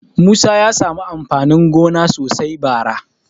Musa ya samu amfanin gona sosai bara.